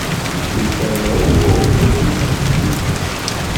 ìṣòro owó orílẹ̀-èdè íjíbítì